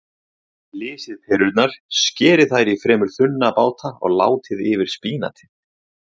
Flysjið perurnar, skerið þær í fremur þunna báta og látið yfir spínatið.